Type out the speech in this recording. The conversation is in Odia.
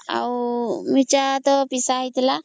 ଆଉ ମିରଚା ତ ପିସା ହେଇଥିଲା